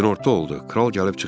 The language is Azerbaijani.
Günorta oldu.